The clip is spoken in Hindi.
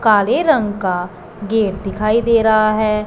काले रंग का गेट दिखाई दे रहा है।